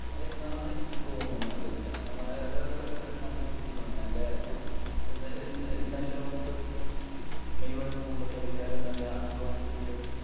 എന്നാണ് എനിക്ക് തോന്നുന്നത്. കാരണം, അതായത് അത്രേം നല്ലൊരു ടീം ആണ്. നല്ല നല്ല ഒത്തൊരുമയും മെയ്‌വഴക്കവും ഉള്ള കളിക്കാരും നല്ല അധ്വാന ശീലവും